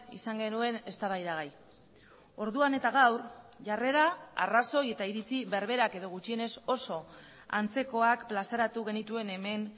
izan genuen eztabaidagai orduan eta gaur jarrera arrazoi eta iritzi berberak edo gutxienez oso antzekoak plazaratu genituen hemen